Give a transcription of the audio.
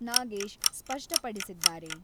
ನಾಗೇಶ್ ಸ್ಪಷ್ಟಪಡಿಸಿದ್ದಾರೆ.